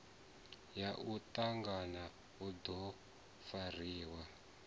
ya mutangano u do fariwa